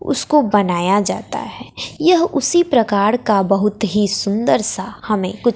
उसको बनाया जाता है यह उसी प्रकार का बहुत ही सुंदर सा हमें कु--